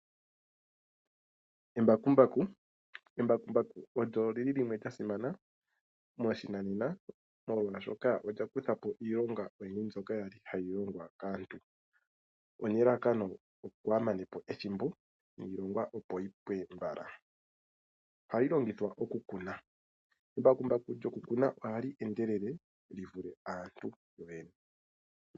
Embakumbaku. Embakumbaku olyo lili limwe lya simana moshinanena molwaashoka olya kuthapo iilonga mbyoka yali hayi longwa kaantu, nelalakano opo kaya manepo ethimboniilonga opo yipwe mbala. Ohali longithwa okukuna. Embakumbaku lyoku kuna ohali endelele li vule aantu yoyene.